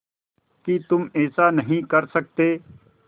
कि तुम ऐसा नहीं कर सकते